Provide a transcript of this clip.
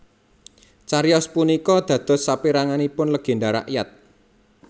Cariyos punika dados saperanganipun legenda rakyat